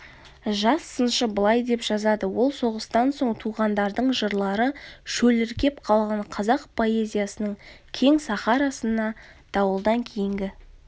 жас сыншы былай деп жазады ол соғыстан соң туғандардың жырлары шөліркеп қалған қазақ поэзиясының кең сахарасына дауылдан кейінгі